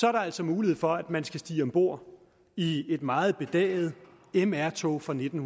er der altså mulighed for at man skal stige om bord i et meget bedaget mr tog fra nitten